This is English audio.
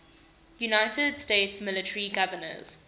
united states military governors